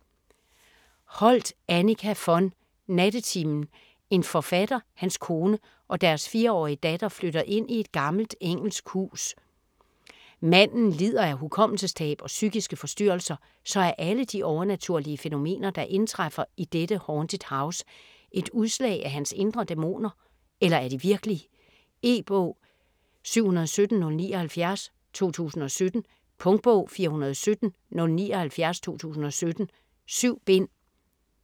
Holdt, Annika von: Nattetimen En forfatter, hans kone og deres 4-årige datter flytter ind i et gammelt engelsk hus. Manden lider af hukommelsestab og psykiske forstyrrelser, så er alle de overnaturlige fænomener der indtræffer i dette "haunted house" et udslag af hans indre dæmoner, eller er de virkelige? E-bog 717079 2017. Punktbog 417079 2017. 7 bind.